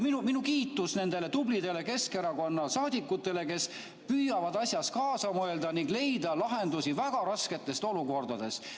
Minu kiitus nendele tublidele Keskerakonna saadikutele, kes püüavad kaasa mõelda ning leida lahendusi väga rasketes olukordades.